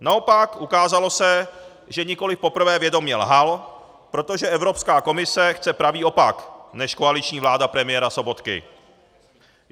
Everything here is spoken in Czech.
Naopak, ukázalo se, že nikoli poprvé vědomě lhal, protože Evropská komise chce pravý opak než koaliční vláda premiéra Sobotky.